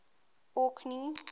orkney